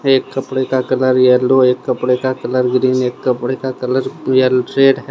एक कपड़े का कलर येलो एक कपड़े का कलर ग्रीन एक कपड़े का कलर येलो रेड है।